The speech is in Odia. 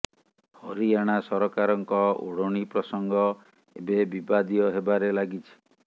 ହରିୟାଣା ସରକାରଙ୍କ ଓଢ଼ଣୀ ପ୍ରସଙ୍ଗ ଏବେ ବିବାଦୀୟ ହେବାରେ ଲାଗିଛି